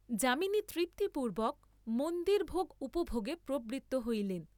যামিনী তৃপ্তি পূর্ব্বক মন্দিরভোগ উপভোগে প্রবৃত্ত হইলেন।